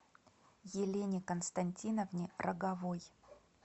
елене константиновне роговой